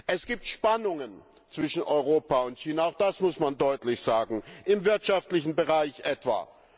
Es gibt Spannungen zwischen Europa und China, auch das muss man deutlich sagen, im wirtschaftlichen Bereich etwa.